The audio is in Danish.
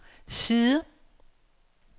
side